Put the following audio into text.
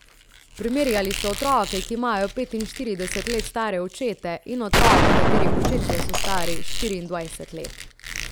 Primerjali so otroke, ki imajo petinštirideset let stare očete, in otroke, katerih očetje so stari štiriindvajset let.